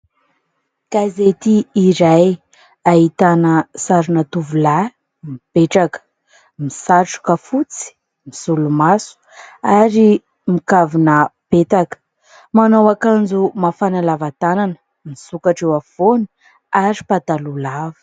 Gazety iray ahitana sarina tovolahy mipetraka, misatroka fotsy, misolomaso ary mikavona mipetaka, manao akanjo mafana lava tanana misokatra eo afovoany ary pataloha lava.